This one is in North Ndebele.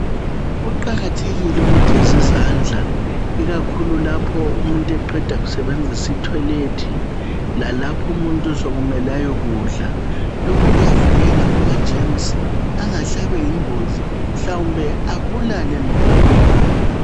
Kuqakathekile ukugezi izandla ikakhulu lapho umuntu eqeda kusebenzisa itoilet lalapho umuntu sokumele ayokudla. Lokhu kuyavikela kumagerms angahle abeyingozi mhlawumbe abulale nokubulala.